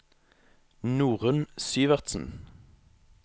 Norunn Syversen